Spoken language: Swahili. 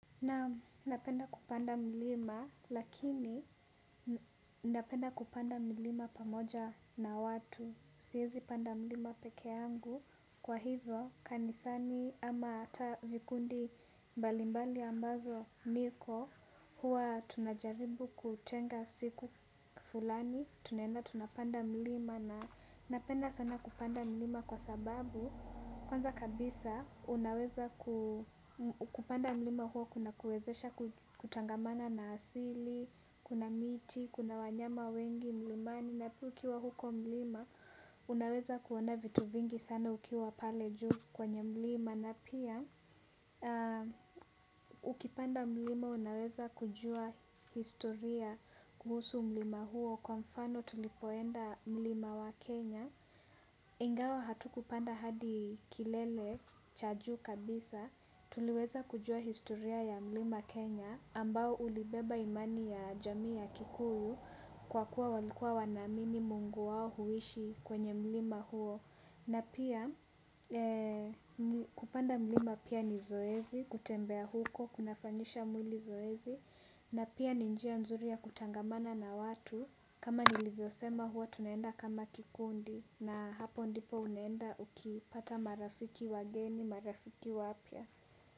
Naam napenda mlima lakini napenda kupanda mlima pamoja na watu siezi panda mlima peke yangu kwa hivyo kanisani ama vikundi mbalimbali ambako niko huwa tunajaribu kutenga siku fulani tunaenda tunapanda mlima na napenda sana kupanda milima kwa sababu kwanza kabisa, unaweza kupanda mlima huo kunakuwezesha kutangamana na asili, kuna miti, kuna wanyama wengi, mlimani, na pia ukiwa huko mlima, unaweza kuona vitu vingi sana ukiwa pale juu kwenye mlima, na pia, ukipanda mlima, unaweza kujua historia kuhusu mlima huo, kwa mfano tulipoenda mlima wa Kenya. Ingawa hatukupanda hadi kilele cha juu kabisa tuliweza kujua historia ya mlima Kenya ambao ulibeba imani ya jamii ya Kikuyu kwa kuwa walikuwa wanaamini mungu wao huishi kwenye mlima huo na pia kupanda mlima pia ni zoezi kutembea huko kunafanyisha mwili zoezi na pia ni njia nzuri ya kutangamana na watu kama nilivyo sema huwa tunaenda kama kikundi na hapo ndipo unaenda ukipata marafiki wageni marafiki wapya.